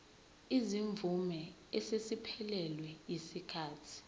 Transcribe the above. izimvume eseziphelelwe yisikhathi